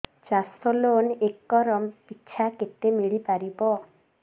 ଚାଷ loan acre ପିଛା କେତେ ମିଳି ପାରିବ